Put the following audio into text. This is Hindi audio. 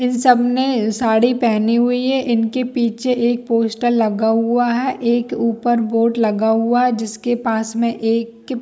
इन ने साड़ी पहनी हुई है इनके पीछे एक पॉटर लगा हुआ है एक ऊपर बोर्ड लगा हुआ है जिसके पास में एक--